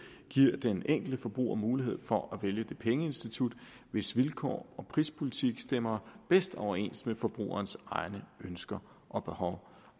giver den enkelte forbruger mulighed for at vælge det pengeinstitut hvis vilkår og prispolitik stemmer bedst overens med forbrugerens egne ønsker og behov